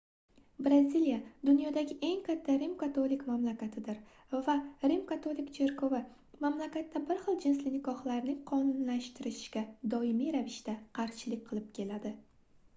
braziliya dunyodagi eng katta rim-katolik mamlakatidir va rim-katolik cherkovi mamlakatda bir xil jinsli nikohlarning qonuniylashtirilishiga doimiy ravishda qarshilik qilib keladi